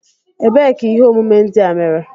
Ebee ka ihe omume ndị a mere?